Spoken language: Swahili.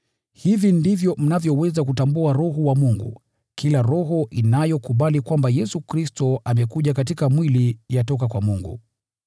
Hivi ndivyo mnavyoweza kutambua Roho wa Mungu: Kila roho inayokubali kwamba Yesu Kristo amekuja katika mwili yatoka kwa Mungu.